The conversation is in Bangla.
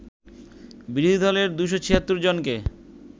বিরোধী দলের ২৭৬ জনকে